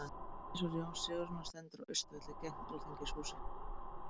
Minnisvarði Jóns Sigurðssonar stendur á Austurvelli, gegnt Alþingishúsinu.